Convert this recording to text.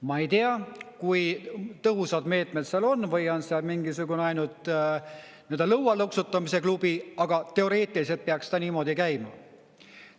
Ma ei tea, kui tõhusad meetmed seal on või seal on mingisugune ainult lõualõksutamise klubi, aga teoreetiliselt peaks ta niimoodi käima.